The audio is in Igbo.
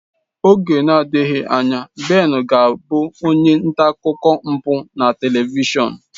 Oge nadighị anya Ben ga abụ onye nta akụkọ mpụ na telivishọn.